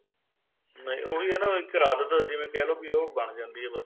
ਨਹੀਂ ਉਹ ਵੀ ਹੈ ਨਾ ਉਹ ਇੱਕ ਆਦਤ ਜਿਵੇਂ ਕਹਿ ਲੋ ਉਹ ਬਣ ਜਾਂਦੀ ਏ ਬੱਸ